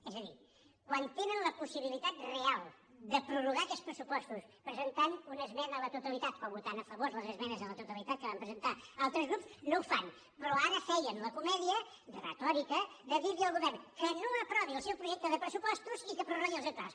és a dir quan tenen la possibilitat real de prorrogar aquests pressupostos presentant una esmena a la totalitat o votant a favor les esmenes a la totalitat que van presentar altres grups no ho fan però ara feien la comèdia retòrica de dir li al govern que no aprovi el seu projecte de pressupostos i que prorrogui els actuals